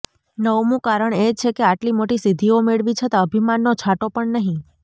નવમું કારણ એ છે કે આટલી મોટી સિદ્ધિઓ મેળવી છતાં અભિમાનનો છાંટો પણ નહિ